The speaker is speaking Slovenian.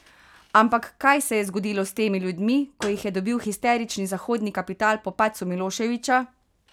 Ampak kaj se je zgodilo s temi ljudmi, ko jih je dobil histerični zahodni kapital po padcu Miloševića?